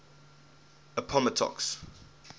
appomattox